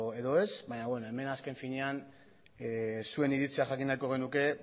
edo ez baina beno hemen azken finean zuen iritzia jakin nahiko genuke